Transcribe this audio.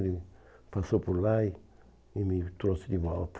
Ele passou por lá e e me trouxe de volta.